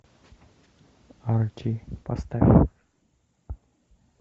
арти поставь